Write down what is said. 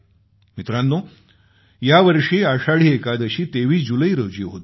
मित्रांनो यावर्षी आषाढी एकादशी 23 जुलै रोजी होती